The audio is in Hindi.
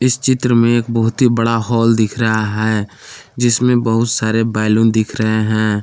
चित्र में एक बहुत ही बड़ा हॉल दिख रहा है जिसमें बहुत सारे बैलून दिख रहे हैं।